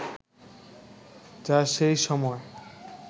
যা সেই সময়